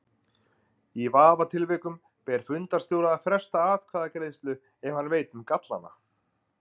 Í vafatilvikum ber fundarstjóra að fresta atkvæðagreiðslu ef hann veit um gallana.